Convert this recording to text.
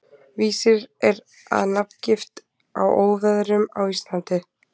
Vísir er að nafngift á óveðrum á Íslandi.